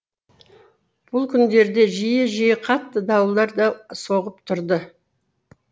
бұл күндерде жиі жиі қатты дауылдар да соғып тұрды